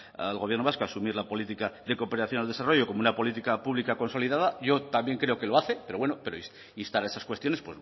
al gobierno vasco a asumir la política de cooperación al desarrollo como una política pública consolidada yo también creo que lo hace pero instar a esas cuestiones